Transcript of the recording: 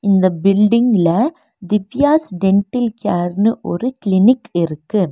இந்த பில்டிங்ல திவ்யாஸ் டென்டில் கேர்னு ஒரு கிளினிக் இருக்கு.